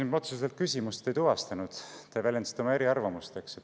Ma otseselt küsimust ei tuvastanud, te väljendasite oma arvamust.